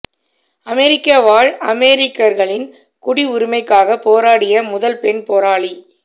அமெரிக்க வாழ் ஆப்பிரிக்கர்களின் குடி உரிமைக்காகப் போராடிய முதல் பெண் போராளி